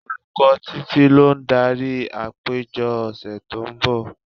Olùkọ́ Títí lo ń darí àpéjọ ọ̀sẹ̀ tó ń bọ̀.